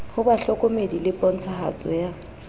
ho bahlokomedi le pontshahatso ya